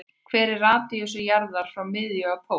Hver er radíus jarðar frá miðju að pól?